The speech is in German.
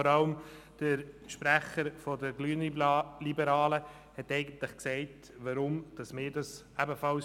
Vor allem der Sprecher der grünliberalen Fraktion hat eigentlich gesagt, weshalb wir das ebenfalls tun.